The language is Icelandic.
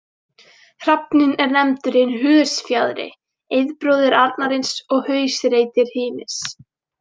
Hrafninn er nefndur hinn hösfjaðri, eiðbróðir arnarins og hausreytir Hymis.